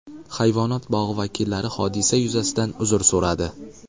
Hayvonot bog‘i vakillari hodisa yuzasidan uzr so‘radi.